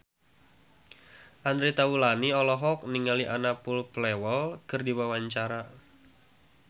Andre Taulany olohok ningali Anna Popplewell keur diwawancara